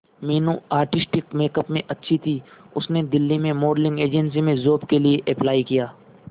Meenu artistic makeup में अच्छी थी उसने दिल्ली में मॉडलिंग एजेंसी में जॉब के लिए अप्लाई किया